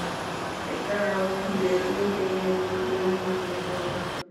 Waxay ka caawiyaan beeralayda inay kordhiyaan dakhligooda.